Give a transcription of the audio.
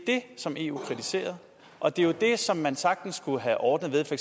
som eu har kritiseret og det er det som man sagtens kunne have ordnet ved for